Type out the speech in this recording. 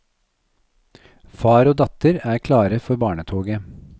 Far og datter er klare for barnetoget.